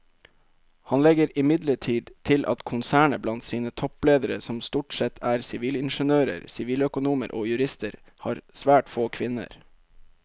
Han legger imidlertid til at konsernet blant sine toppledere som stort sette er sivilingeniører, siviløkonomer og jurister har svært få kvinner.